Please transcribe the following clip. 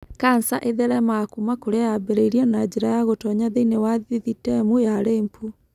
kanca ĩtheremaga kuuma kũrĩa yambĩrĩrie na njĩra ya gũtoonya thĩinĩ wa thithitemu ya lymph.